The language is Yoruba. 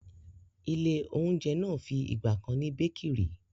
ilé-oúnjẹ náà fi ìgbà kan ni békìrì.